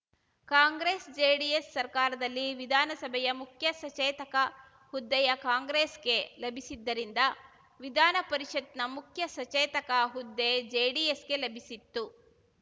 ಕಾಂಗ್ರೆಸ್‌ಜೆಡಿಎಸ್‌ ಸರ್ಕಾರದಲ್ಲಿ ವಿಧಾನಸಭೆಯ ಮುಖ್ಯ ಸಚೇತಕ ಹುದ್ದೆಯ ಕಾಂಗ್ರೆಸ್‌ಗೆ ಲಭಿಸಿದ್ದರಿಂದ ವಿಧಾನಪರಿಷತ್‌ನ ಮುಖ್ಯ ಸಚೇತಕ ಹುದ್ದೆ ಜೆಡಿಎಸ್‌ಗೆ ಲಭಿಸಿತ್ತು